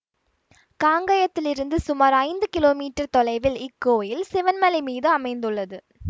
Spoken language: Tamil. காங்கயத்திலிருந்து சுமார் ஐந்து கிலோமீட்டர் தொலைவில் இக்கோயில் சிவன்மலை மீது அமைந்துள்ளது